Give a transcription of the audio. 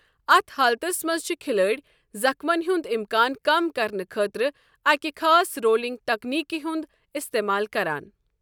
اتھ حالتس منٛز چھُ کھلٲڑۍ زخمَن ہنٛد امکان کم کرنہٕ خٲطرٕ أکہِ خاص رولنگ تکنیکہِ ہُنٛد استعمال کران۔